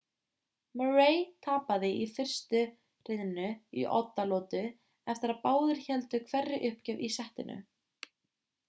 murray tapaði fyrstu hrinu í oddalotu eftir að báðir héldu hverri uppgjöf í settinu